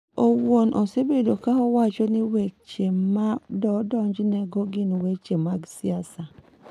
En owuon osebedo ka wacho ni weche ma odonjnego gin weche mag siasa.